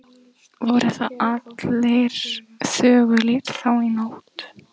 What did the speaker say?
Voru þar allir þögulir þá nótt.